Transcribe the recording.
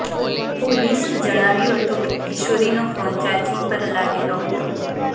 પોલીસે જણાવ્યું હતું કે કિશોરીનો ફોન ચાર્જીંગ પર લાગેલો હતો